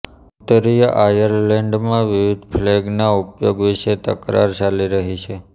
ઉત્તરીય આયર્લેન્ડમાં વિવિધ ફ્લેગના ઉપયોગ વિશે તકરાર ચાલી રહી છે